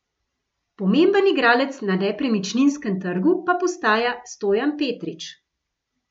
Pomemben igralec na nepremičninskem trgu pa postaja Stojan Petrič.